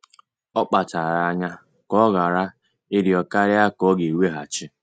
Ọ kpachara anya ka ọ ghara ịrịọ karịa ka ọ ga-weghachi